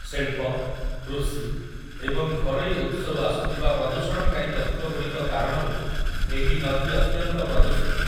ଶିଳ୍ପ, କୃଷି, ଏବଂ ଘରୋଇ ଉତ୍ସରୁ ଆସୁଥିବା ପ୍ରଦୂଷଣକାରୀ ତତ୍ତ୍ୱଗୁଡ଼ିକ କାରଣରୁ ଏହି ନଦୀ ଅତ୍ୟନ୍ତ ପ୍ରଦୂଷିତ ।